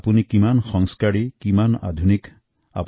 আজি কালি ইয়াৰ নতুন মাত্ৰা নতুন মাপকাঠি হৈছে